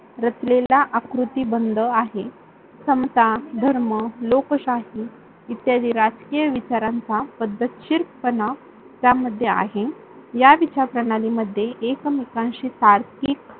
रचलेला आकृती बंध आहे. समता, धर्म, लोकशाही इत्यादी राजकीय विचारांचा पद्धतशीर पणा त्यामध्ये आहे. या विचार प्रणालीमध्ये एकमेकांशी स्वार्थिक